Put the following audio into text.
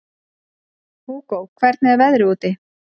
Hugó, hvernig er veðrið úti?